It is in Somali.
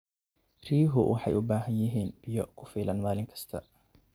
Riyuhu waxay u baahan yihiin biyo ku filan maalin kasta.